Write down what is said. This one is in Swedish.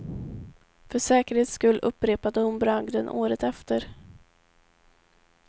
För säkerhets skull upprepade hon bragden året efter.